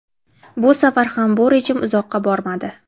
Bu safar ham bu rejim uzoqqa bormadi.